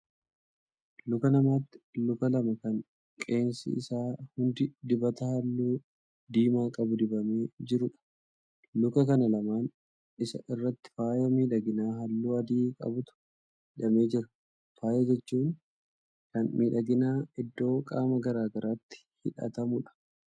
Luka namaati luka lama Kan qeensi isaa hundi dibata halluu diimaa qabu dibamee jiruudha. Luka kan lamaan Isaa irratti faaya miidhaginaa halluu adii qabutu hidhamee jira. Faaya jechuun Kan miidhaginaa iddoo qaama gargaraatti hidhatamuudha.